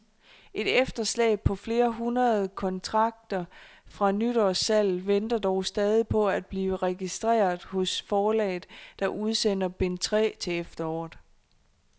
Et efterslæb på flere hundrede kontrakter fra nytårssalget venter dog stadig på at blive registreret hos forlaget, der udsender bind tre til efteråret.